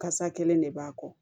Kasa kelen de b'a kɔ